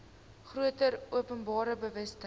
groter openbare bewustheid